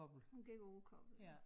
Hun gik på Rugkobbel ja